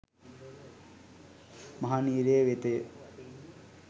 මහ නිරය වෙතය.